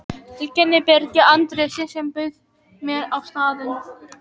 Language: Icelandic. Tileinkað Birgi Andréssyni, sem bauð mér á staðinn.